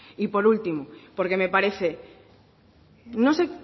y por último porque me parece no sé